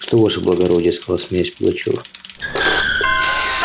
что ваше благородие сказал смеясь пугачёв